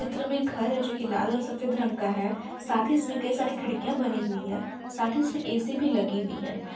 चित्र में घर है जो की लाल और सफेद रंग का है साथ ही इसमें कई सारी खिड़किया बनी हुई है। साथ ही इसमें ऐ_सी भी लगी हुई है ।